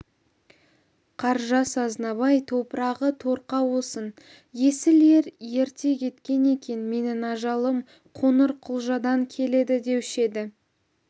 қаржас азнабай топырағы торқа болсын есіл ер ерте кеткен екен менің ажалым қоңырқұлжадан келеді деуші еді